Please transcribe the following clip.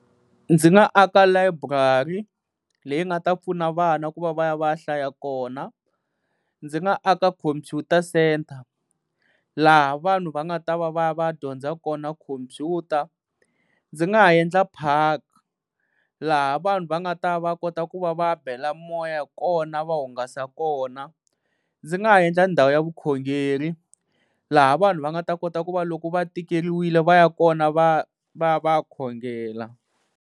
Ndzi nga aka layiburari leyi nga ta pfuna vana ku va va ya va ya hlaya kona. Ndzi nga aka khompyuta centre laha vanhu va nga ta va va ya va ya dyondza kona khompyuta. Ndzi nga ha endla park laha vanhu va nga ta va kota ku va va bela moya kona va hungasa kona. Ndzi nga endla ndhawu ya vukhongeri laha vanhu va nga ta kota ku va loko va tikeriwile va ya kona va va ya va ya khongela.